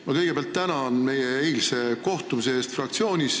Ma kõigepealt tänan meie eilse kohtumise eest fraktsioonis!